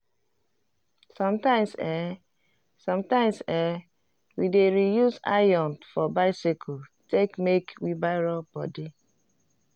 sometimes eh sometimes eh we dey reuse iron for biccyle take make wheelbarrow body